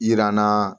Yirana